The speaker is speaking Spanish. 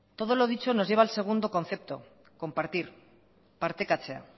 todo lo dicho nos lleva al segundo concepto compartir partekatzea